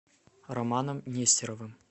романом нестеровым